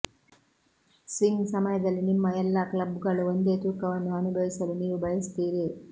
swing ಸಮಯದಲ್ಲಿ ನಿಮ್ಮ ಎಲ್ಲಾ ಕ್ಲಬ್ಗಳು ಒಂದೇ ತೂಕವನ್ನು ಅನುಭವಿಸಲು ನೀವು ಬಯಸುತ್ತೀರಿ